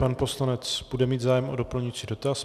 Pan poslanec bude mít zájem o doplňující dotaz.